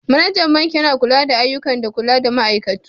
Managan banki Yana lura da ayyukan da kula da ma'aikatu.